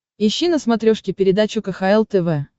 ищи на смотрешке передачу кхл тв